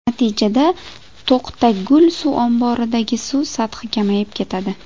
Natijada To‘qtagul suv omboridagi suv sathi kamayib ketadi.